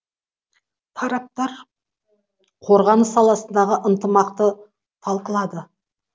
тараптар қорғаныс саласындағы ынтымақты талқылады